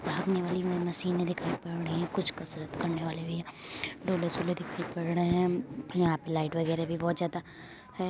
भागने वाली मशीने दिखाई पढ़ रही है कुछ कसरत करने वाली डोले शोले भी दिखाई पढ़ रही है यहाँ पे लाइट भी बहुत ज्यादा है ।